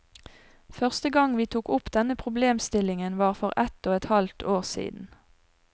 Første gang vi tok opp denne problemstillingen, var for ett og et halvt år siden.